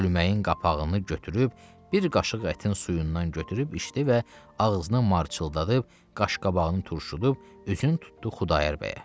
Çölməyin qapağını götürüb bir qaşıq ətin suyundan götürüb içdi və ağzını marçıldadıb, qaşqabağını turşudub, üzünü tutdu Xudayar bəyə.